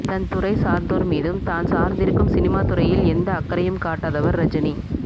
தன் துறை சார்ந்தோர் மீதும் தான் சார்ந்திருக்கும் சினிமா துறையில் எந்த அக்கறையும் காட்டாதவர் ரஜினி